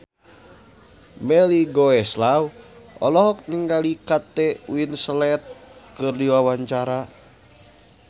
Melly Goeslaw olohok ningali Kate Winslet keur diwawancara